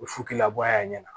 U fu k'i labɔ a ɲɛna